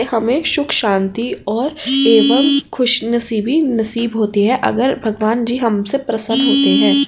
हमे सुख शांति और एवं खुसनसीबी नसीब होती है अगर भगवन जी हमसे प्रसन्न होते है।